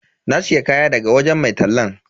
Na siya kaya daga wajen mai tallan.